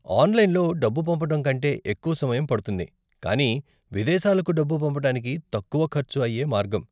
ఆనలైన్లో డబ్బు పంపటం కంటే ఎక్కువ సమయం పడుతుంది, కానీ విదేశాలకు డబ్బు పంపటానికి తక్కువ ఖర్చు అయ్యే మార్గం.